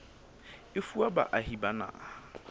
e fuwa baahi ba naha